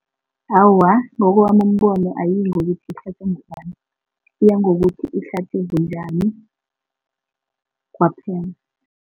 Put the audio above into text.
Awa, ngokowami umbono ayiyingokuthi ihlatjwe ngubani iya ngokuthi ihlatjwe bunjani kwaphela.